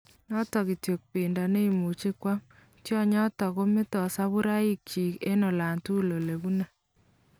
Notok kityo bendo neimuchi kwam. Tyonyotok komete saburaik chiik eng' olaatugul olebune.